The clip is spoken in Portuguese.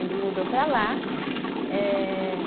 Ele mudou para lá. Ehh